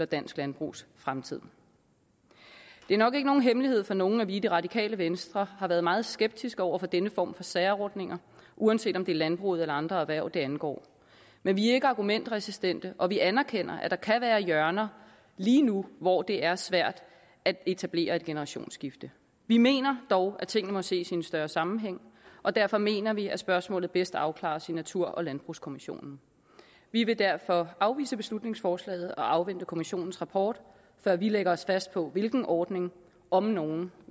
dansk landbrugs fremtid det er nok ikke nogen hemmelighed for nogen at vi i det radikale venstre har været meget skeptiske over for denne form for særordninger uanset om det landbruget eller andre hverv det angår men vi er ikke argumentresistente og vi anerkender at der kan være hjørner lige nu hvor det er svært at etablere et generationsskifte vi mener dog at tingene må ses i en større sammenhæng og derfor mener vi at spørgsmålet bedst afklares i natur og landbrugskommissionen vi vil derfor afvise beslutningsforslaget og afvente kommissionens rapport før vi lægger os fast på hvilken ordning om nogen